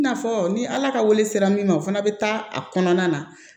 I n'a fɔ ni ala ka wele sera min ma o fana bɛ taa a kɔnɔna na